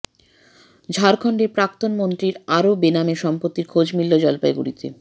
ঝাড়খণ্ডের প্রাক্তন মন্ত্রীর আরও বেনামে সম্পত্তির খোঁজ মিলল জলপাইগুড়িতে